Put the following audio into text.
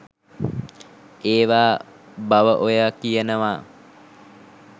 ඒවා බව ඔයා කියනවා.